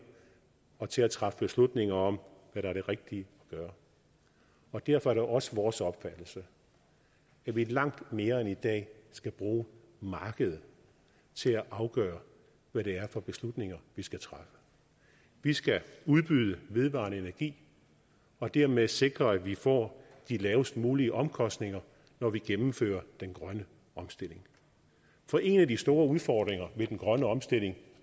og til at træffe beslutninger om hvad der er det rigtige at gøre derfor er det også vores opfattelse at vi langt mere end i dag skal bruge markedet til at afgøre hvad det er for beslutninger vi skal træffe vi skal udbyde vedvarende energi og dermed sikre at vi får de lavest mulige omkostninger når vi gennemfører den grønne omstilling for en af de store udfordringer ved den grønne omstilling